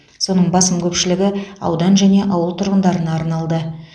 соның басым көпшілігі аудан және ауыл тұрғындарына арналды